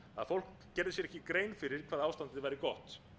fólk gerði sér ekki grein fyrir hvað ástandið væri gott